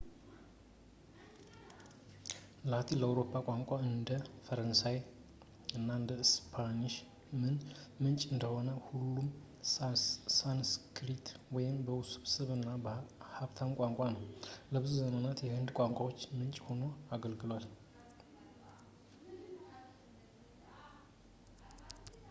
ላቲን ለአውሮፓ ቋንቋዎች እንደ ፈረንሳይኛ እና ስፓኒሽ ምንጭ እንደሆነ ሁሉ ሳንስክሪት በጣም ውስብስብ እና ሀብታም ቋንቋ ነው ፣ ለብዙ ዘመናዊ የህንድ ቋንቋዎች ምንጭ ሆኖ አገልግሏል